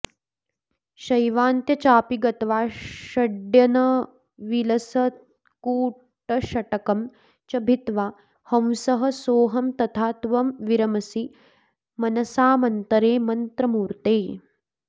शैवान्त्य चापि गत्वा षडयनविलसत्कूटषट्कं च भित्वा हंसः सोऽहं तथा त्वं विरमसि मनसामन्तरे मन्त्रमूर्ते